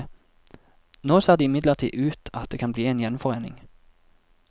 Nå ser det imidlertid ut at det kan bli en gjenforening.